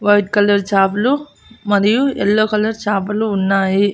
White colour చాపలు మరియు yellow colour చాపలు ఉన్నాయి.